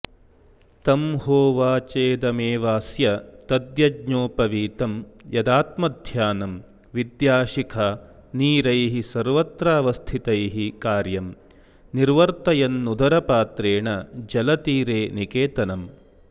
तं होवाचेदमेवास्य तद्यज्ञोपवीतं यदात्मध्यानं विद्या शिखा नीरैः सर्वत्रावस्थितैः कार्यं निर्वर्तयन्नुदरपात्रेण जलतीरे निकेतनम्